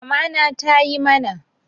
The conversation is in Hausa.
Mamana tayi mana